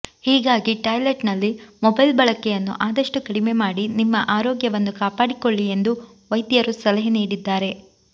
ಹೀಗಾಗಿ ಟಾಯ್ಲೆಟ್ನಲ್ಲಿ ಮೊಬೈಲ್ ಬಳಕೆಯನ್ನು ಆದಷ್ಟುಕಡಿಮೆ ಮಾಡಿ ನಿಮ್ಮ ಆರೋಗ್ಯವನ್ನು ಕಾಪಾಡಿಕೊಳ್ಳಿ ಎಂದು ವೈದ್ಯರು ಸಲಹೆ ನೀಡಿದ್ದಾರೆ